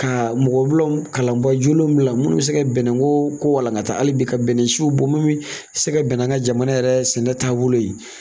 Ka mɔgɔ bila kalanbaa jolenw minnu bɛ se ka bɛnɛko ko walankata hali bi ka bɛnɛsiw bɔ minnu bɛ se ka bɛn ni an ka jamana yɛrɛ sɛnɛ taabolo ye